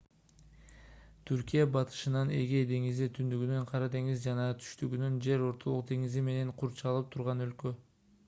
түркия батышынан эгей деңизи түндүгүнөн кара деңиз жана түштүгүнөн жер ортолук деңизи менен курчалып турган өлкө